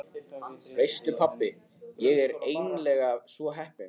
Veistu pabbi, ég er eiginlega svo heppin.